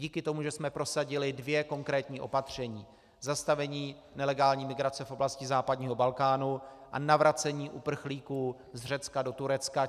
Díky tomu, že jsme prosadili dvě konkrétní opatření - zastavení nelegální migrace v oblasti západního Balkánu a navracení uprchlíků z Řecka do Turecka.